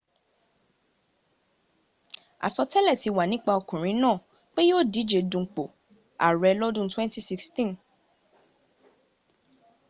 àsọtẹ́lẹ̀ ti wà nípa ọkùnrin náà pé yíò díje dunpò ààrẹ lọ́dún 2016